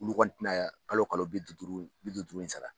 Olu kɔni tɛna ye kalo kalo bi duuru duuru bi duuru duuru in sara.